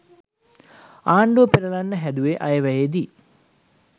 ආණ්ඩුව පෙරලන්න හැදුවේ අයවැයේදි.